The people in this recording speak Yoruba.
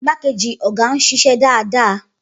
Igbákejì ọ̀gá ń ṣiṣẹ́ dáadáa.